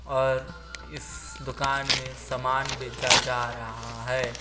और इस दुकान में सामान बेचा जा रहा है।